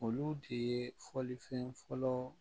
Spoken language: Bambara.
Olu de ye fɔlifɛn fɔlɔ